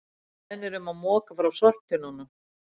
Beðnir um að moka frá sorptunnum